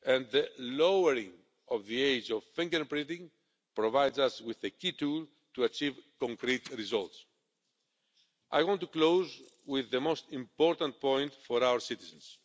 The lowering of the age of finger printing provides us with a key tool for achieving concrete results. I want to close with the most important point for our citizens.